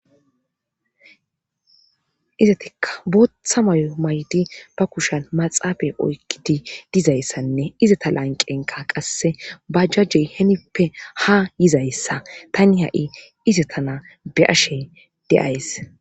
Izettikka bootha mayo maydi ba kushan maxafe oykkidi dizayssanne izata lanqenka qasse bajajey henippe ha yizayssa tani ha'i izetara be'ashe de'ays